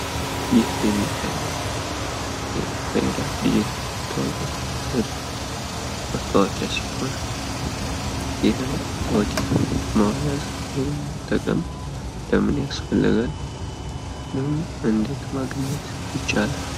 ይህ የሚታየው የፋይዳ ዲጂታል መታወቂያ ሲሆን፤ ይህን መታወቂያ መያዝ ወይም መጠቀም ለምን ያስፈልጋል? እንዲሁም እንዴት ማግኘት ይቻላል?